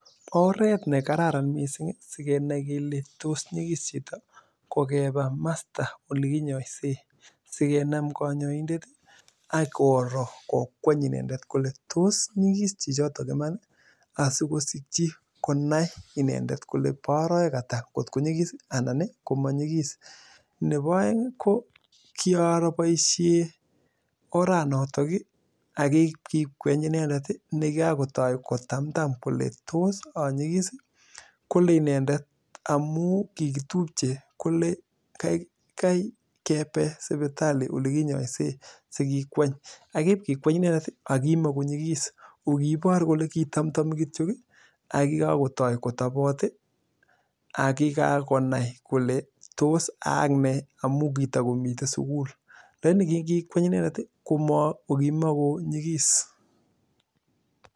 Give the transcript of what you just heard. Oret nekararan sigenai kole nyigis chito ko keba masta oleginyoisen, sikenam konyoindet ii ak koroo kokweny inendet kole tos nyigis chichitok iman ii asikosikyi konai inendet kole bo orowek ata kotko nyigis ii anan komanyigis, nebo oeng ii ko kioroo boisiet oranotok ii ak kikweny inendet ii nekakotoi kotamtam kole tos onyigis ii kole inendet amun kikitupche kokaikai kebe sipitali olekinyoisen sikikweny, ak iib kikweny inendet ii akimogonyigis kokibor kole kitamkotamtami kityo ak kikakotoi kotobot ii ak kikakonai kole tos ayai nee amun kitokomiten sugul, lagini kingikweny inendet ii kokimogonyigis.